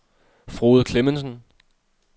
Frode Clemmensen